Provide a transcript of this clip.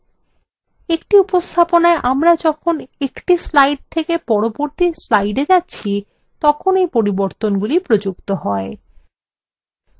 একটি উপস্থাপনায় আমরা যখন একটি slides থেকে পরবর্তী slides যাচ্ছি তখন এই পরিবর্তনগুলি প্রযুক্ত হয়